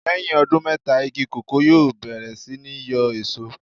Lẹ́yìn ọdún mẹ́ta igi kòkó yóò bẹ̀rẹ̀ sí ní yóò èso.